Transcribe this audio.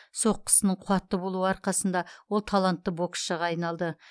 соққысының қуатты болуы арқасында ол талантты боксшыға айналды